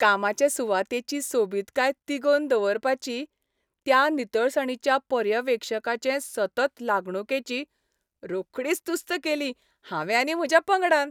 कामाचे सुवातेची सोबितकाय तिगोवन दवरपाची त्या नितळसाणीच्या पर्यवेक्षकाचे सतत लागणूकेची रोखडीच तुस्त केली हांवें आनी म्हज्या पंगडान.